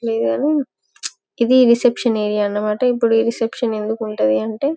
లేదు కానీ ఇది రిసెప్షన్ ఏరియా అన్న మాట ఇపుడు ఈ రిసెప్షన్ ఎందుకు ఉంటది అంటే --